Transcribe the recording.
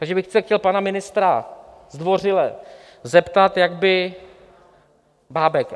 Takže bych se chtěl pana ministra zdvořile zeptat, jak by... Bábek.